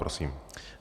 Prosím.